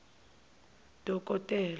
dokotela